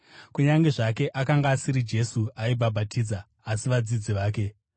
kunyange zvake akanga asiri Jesu aibhabhatidza, asi vadzidzi vake.